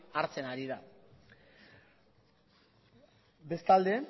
hartzen ari da bestalde